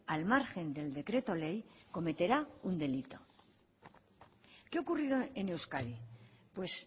al margen del decreto ley cometerá un delito qué ha ocurrido en euskadi pues